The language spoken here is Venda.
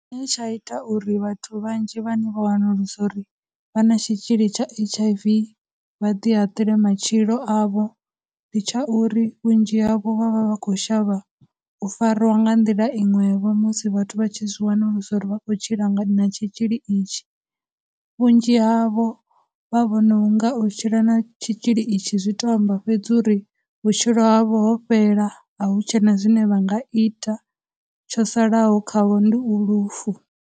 He tsha ita uri vhathu vhanzhi vhane vha wanulusa uri vha na tshitzhili tsha H_I_V vha ḓi haṱule matshilo avho ndi tsha uri vhunzhi havho vha vha vha khou shavha u fariwa nga nḓila iṅwevho musi vhathu vha tshi zwi wanulusa uri vha khou tshila nga, na tshitzhili itshi, vhunzhi havho vha vhona u nga u tshila na tshitzhili itshi zwi to amba fhedzi uri vhutshilo havho ho fhela, a hu tshena zwine vha nga ita, tsho salaho khavho ndi u lufu.